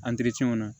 na